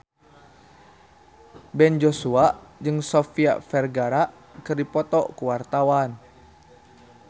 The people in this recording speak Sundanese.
Ben Joshua jeung Sofia Vergara keur dipoto ku wartawan